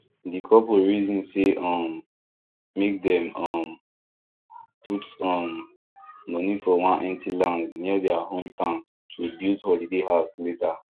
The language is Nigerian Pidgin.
the couple reason say um make dem um put um money for one empty land near their hometown to build holiday house later